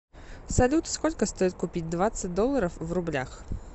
салют сколько стоит купить двадцать долларов в рублях